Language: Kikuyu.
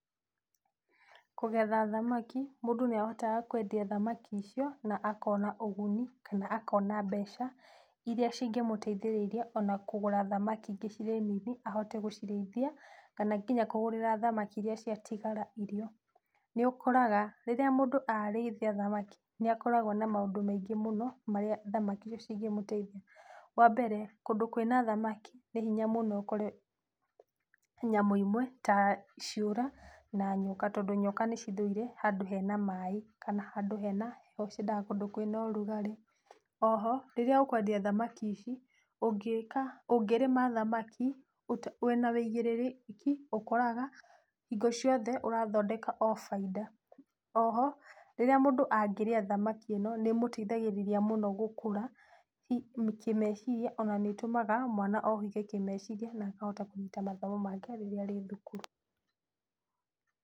Kũgetha thamaki mũndũ nĩahotaga kwendia thamaki icio na akona ũguni, kana akona mbeca iria cingĩmũteithĩrĩria ona kũgũra thamaki ingĩ cirĩ nũthũ ahote gũcirĩithia, kana nginya kũgũrĩra thamaki iria ciatigara irio. Nĩũkoraga rĩrĩa mũndũ arĩithia thamaki nĩakoragwo na maũndũ maingĩ mũno marĩa thamaki ici cingĩmũteithia. Wambere kũndũ kwĩna thamaki nĩ hinya mũno ũkore nyamũ imwe ta ciũra kana nyoka. Tondũ nyoka nĩcithũire handũ hena maaĩ kana handũ hena heho tondũ ciendaga kũndũ kwĩna ũrugarĩ. Oho rĩrĩa ũkwendia thamaki ici ũngĩrĩma thamaki wĩna wĩigĩrĩrĩki ũkoraga hĩndĩ ciothe ũrathondeka o baida. Oho rĩrĩa mũndũ angĩrĩa thamaki ĩno nĩmũteithagĩrĩria mũno gũkũra kĩmeciria ona nĩtũmaga mwana ohĩge kĩmeciria na akahota kũnyita mathomo make rĩrĩa arĩ thukuru.